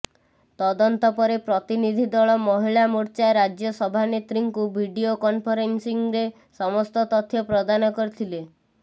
ତଦନ୍ତ ପରେ ପ୍ରତିନିଧୀ ଦଳ ମହିଳା ମୋର୍ଚ୍ଚା ରାଜ୍ୟ ସଭାନେତ୍ରୀଙ୍କୁ ଭିଡିଓ କନଫରେନ୍ସିରେ ସମସ୍ତ ତଥ୍ୟ ପ୍ରଦାନ କରିଥିଲେ